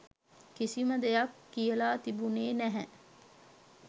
කිසිම දෙයක් කියලා තිබුණෙ නැහැ.